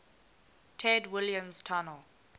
ted williams tunnel